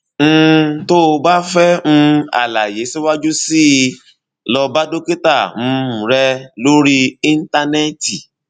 um tó o bá fẹ um àlàyé síwájú sí i lọ bá dókítà um rẹ lórí íńtánẹẹtì